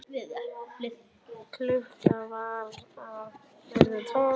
Klukkan var að verða tólf.